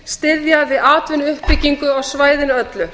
styðja við atvinnuuppbyggingu á svæðinu öllu